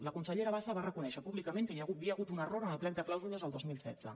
la consellera bassa va reconèixer públicament que hi havia hagut un error en el plec de clàusules el dos mil setze